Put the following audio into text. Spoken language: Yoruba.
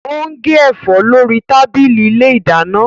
Ó ń gé ẹ̀fọ́ lórí tábìlì ilé ìdáná